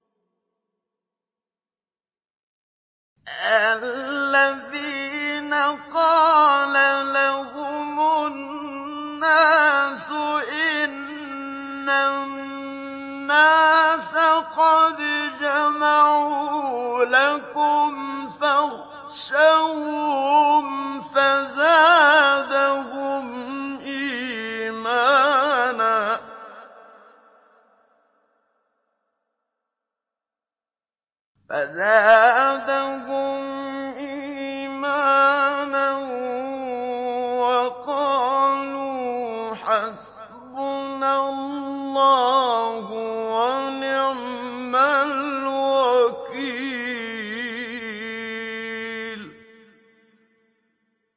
الَّذِينَ قَالَ لَهُمُ النَّاسُ إِنَّ النَّاسَ قَدْ جَمَعُوا لَكُمْ فَاخْشَوْهُمْ فَزَادَهُمْ إِيمَانًا وَقَالُوا حَسْبُنَا اللَّهُ وَنِعْمَ الْوَكِيلُ